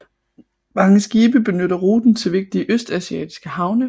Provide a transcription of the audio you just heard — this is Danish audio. Mange skibe benytter ruten til vigtige østasiatiske havne